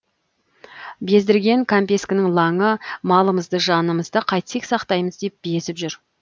бездірген кәмпескенің лаңы малымызды жанымызды қайтсек сақтаймыз деп безіп жүр